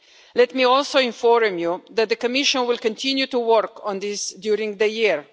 Let me also inform you that the Commission will continue to work on this during the year.